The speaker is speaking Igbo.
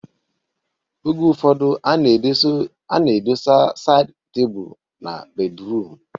Oge ụfọdụ a na-edosa saịd tebụl na bedruum